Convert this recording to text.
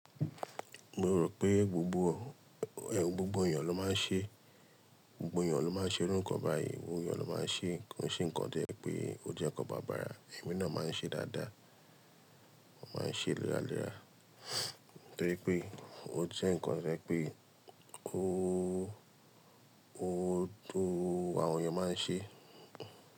Mo rò pé gbogbo ọ̀, ẹ, gbogbo ènìyàn ló máa ń ṣe, gbogbo ènìyàn ló máa ń ṣe orúkan báyìí, gbogbo ènìyàn ló máa ń ṣe, ko n ṣe nǹkan díẹ̀ pé ó jẹ́ ǹkan bàbàra, èmi náà máa ń ṣe dáadáa, màá ń ṣe léra léra, torí pé ó jẹ́ ǹkan to je pé ó, ó tó àwọn ènìyàn máa ń ṣe.